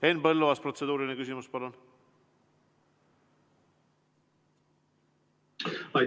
Henn Põlluaas, protseduuriline küsimus, palun!